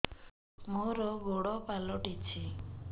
ମୋର ଗୋଡ଼ ପାଲଟିଛି